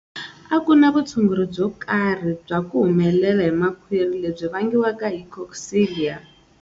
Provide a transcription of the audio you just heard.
A ku na vutshunguri byo karhi bya ku humela hi makhwiri lebyi vangiwaka hi Coxiella.